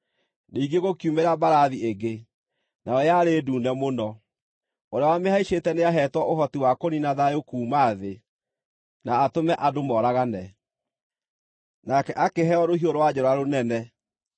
Ningĩ gũkiumĩra mbarathi ĩngĩ, nayo yarĩ ndune mũno. Ũrĩa wamĩhaicĩte nĩaheetwo ũhoti wa kũniina thayũ kuuma thĩ, na atũme andũ mooragane. Nake akĩheo rũhiũ rwa njora rũnene.